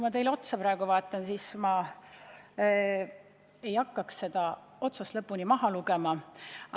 Ma vaatan teile praegu otsa ja kinnitan, et ma ei hakka protokolli otsast lõpuni ette lugema.